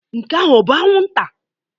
Nke ahụ ọ bụ anwụnta?